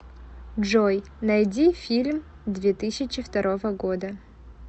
джой найди фильм две тысячи второго года